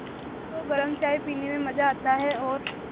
सभी को गरम चाय पीने में मज़ा आता है और